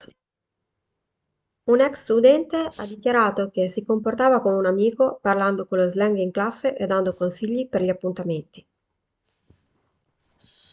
un ex-studente ha dichiarato che si comportava come un amico parlando con lo slang in classe e dando consigli per gli appuntamenti'